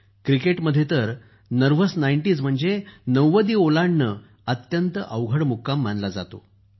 क्रिकेटमध्ये तर nervous nineties म्हणजे नव्वदी ओलांडणे अत्यंत अवघड मुक्काम मानला जातो